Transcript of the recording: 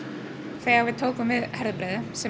þegar við tókum við Herðubreið sem